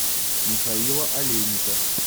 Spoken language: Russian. михаила олейника